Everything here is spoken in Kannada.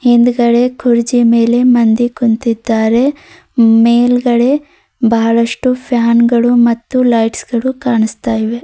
ಹಿಂದುಗಡೆ ಕುರ್ಚಿ ಮೇಲೆ ಮಂದಿ ಕುಂತಿದ್ದಾರೆ ಮೇಲ್ಗಡೆ ಬಹಳಸ್ಟು ಲೈಟ್ ಗಳು ಫ್ಯಾನ್ ಗಳು ಕಾಣಿಸ್ತಾ ಇವೆ.